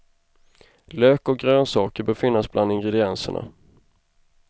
Lök och grönsaker bör finnas bland ingredienserna.